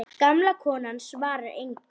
Gamla konan svarar engu.